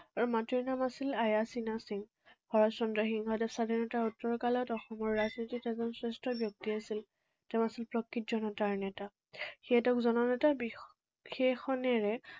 আৰু মাতৃৰ নাম আছিল আয়া সিংহ। শৰৎ চন্দ্ৰ সিংহই স্বাধীনতাৰ উত্তৰ কালত অসমৰ ৰাজনীতিত এজন শ্ৰেষ্ঠ ব্যক্তি আছিল। তেওঁ আছিল প্ৰকৃত জনতাৰ নেতা। সেয়ে তেওঁক জননেতাৰ বিশেষণেৰে